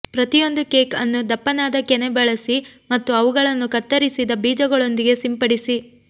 ಪ್ರತಿಯೊಂದು ಕೇಕ್ ಅನ್ನು ದಪ್ಪನಾದ ಕೆನೆ ಬಳಸಿ ಮತ್ತು ಅವುಗಳನ್ನು ಕತ್ತರಿಸಿದ ಬೀಜಗಳೊಂದಿಗೆ ಸಿಂಪಡಿಸಿ